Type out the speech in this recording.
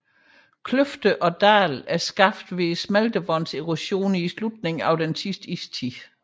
Kløfter og dale er skabt ved smeltevandets erosion i slutningen af sidste istid